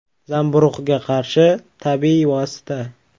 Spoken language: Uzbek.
Zamburug‘ga qarshi tabiiy vosita.